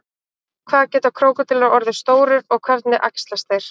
hvað geta krókódílar orðið stórir og hvernig æxlast þeir